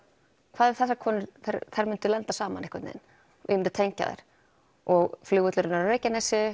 hvað ef þessar konur myndu lenda saman einhvern vegin ég myndi tengja þær og flugvöllurinn er á Reykjanesi